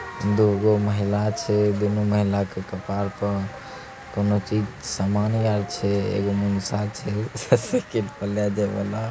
दोगो महिला छै। दोनों महिला के कपार पर कोनो चीज सामान आर छै ससुरके --